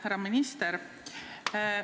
Härra minister!